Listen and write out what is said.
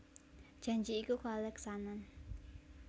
Janji iku kaleksanan